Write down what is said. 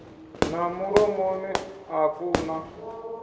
na mulomoni a ku na